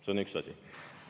See on üks asi.